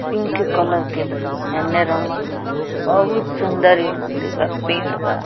Pink colour के भी हेने रंगल बा। बहुत सुन्दर ई मन्दिर बा पेड़ बा।